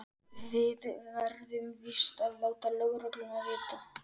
Við verðum víst að láta lögregluna vita.